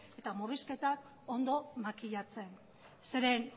eta murrizketak ondo makilatzen zeren